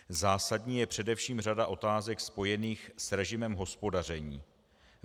Zásadní je především řada otázek spojených s režimem hospodaření.